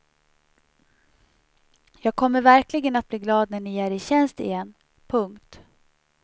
Jag kommer verkligen att bli glad när ni är i tjänst igen. punkt